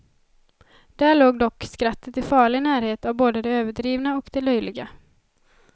Där låg dock skrattet i farlig närhet av både det överdrivna och det löjliga.